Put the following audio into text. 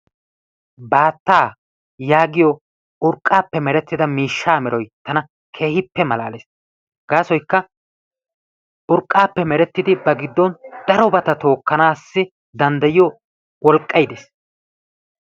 Baattaa yaagiyo urqqaappe merettida miishshaa meroy tana keehippe malaalees. Gaasoykka urqqaappe merettidi ba giddon darobaa tookkanaassi danddayiyo woqqay dees.